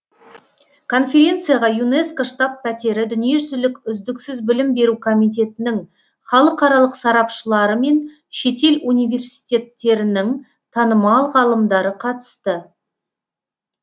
конференцияға юнеско штаб пәтері дүниежүзілік үздіксіз білім беру комитетінің халықаралық сарапшылары мен шетел университеттерінің танымал ғалымдары қатысты